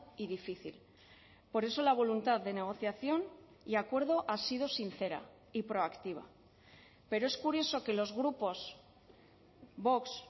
y difícil por eso la voluntad de negociación y acuerdo ha sido sincera y proactiva pero es curioso que los grupos vox